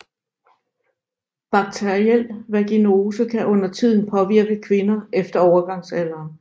Bakteriel vaginose kan undertiden påvirke kvinder efter overgangsalderen